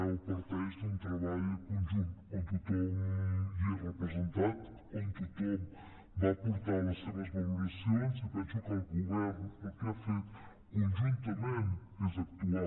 o parteix d’un treball conjunt on tothom hi és representat on tothom va aportar les seves valoracions i penso que el govern el que ha fet conjuntament és actuar